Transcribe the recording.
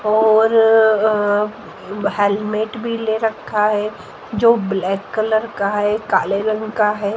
और अह हेलमेट भी ले रखा है जो ब्लैक कलर का है काले रंग का है।